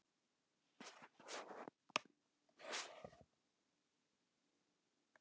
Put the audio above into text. Meira en milljarði manna í yfir áttatíu löndum stafar hætta af smiti.